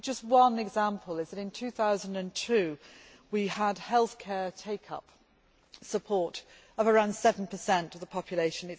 Just one example in 2002, we had health care take up support of around 7 of the population